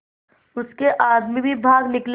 उसके आदमी भी भाग निकले